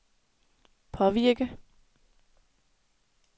påvirke